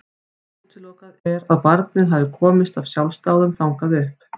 Útilokað er að barnið hafi komist af sjálfsdáðum þangað upp.